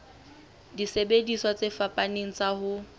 disebediswa tse fapaneng tsa ho